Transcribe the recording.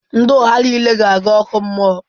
Ndị ụgha niile ga-aga ọkụ mmụọ.